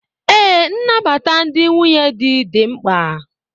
Ee, nnabata ndị nwunye di dị mkpa